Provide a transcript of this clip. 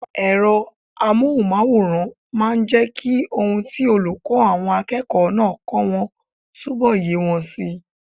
Ẹ̀rọ amóhùnmáwòrán máa n jẹ́ kí ohun tí olùkọ́ àwọn akẹ́kọ̀ọ́ náà kọ́ wọn túnbọ̀ yé wọn si